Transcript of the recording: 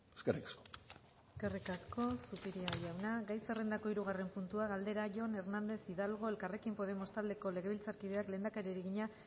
eskerrik asko eskerrik asko zupiria jauna gai zerrendako hirugarren puntua galdera jon hernández hidalgo elkarrekin podemos taldeko legebiltzarkideak lehendakariari egina